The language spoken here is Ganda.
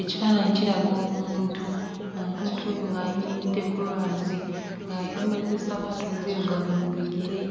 Ekifaananyi kiraga omuntu, omuntu oyo ng'ayimiridde ku lwazi ng'ayambadde ssapatu nzirugavu mu bigere